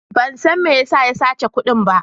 Ban san me ya sa ya sace kudin ba.